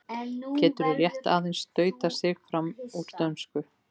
Getur rétt aðeins stautað sig fram úr dönsku.